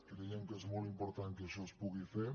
creiem que és molt important que això es pugui fer